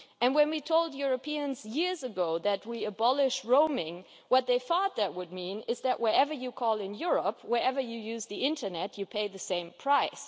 When we told Europeans years ago that we would abolish roaming, they thought that would mean that wherever you called in Europe, and wherever you used the internet, you would pay the same price.